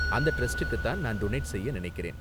அந்த டிரஸ்டுக்கு தான் நான் டொனேட் செய்ய நினைக்கிறேன்.